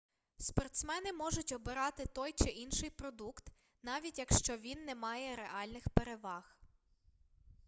спортсмени можуть обирати той чи інший продукт навіть якщо він не має реальних переваг